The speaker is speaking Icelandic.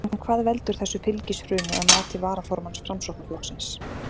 En hvað veldur þessu fylgishruni að mati varaformanns Framsóknarflokksins?